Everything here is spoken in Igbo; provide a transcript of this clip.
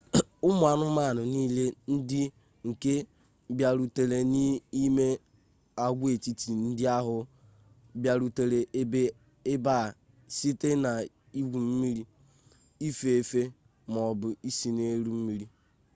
ụmụ anụmanụ niile ndị nke bịarutere n'ime agwaetiti ndị ahụ bịarutere ebe a site n'igwu mmiri ife efe ma ọ bụ ise n'elu mmiri